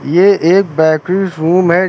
ये एक bakery room है।